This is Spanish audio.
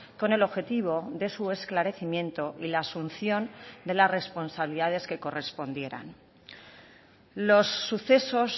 con el objetivo de su esclarecimiento y la asunción de las responsabilidades que correspondieran los sucesos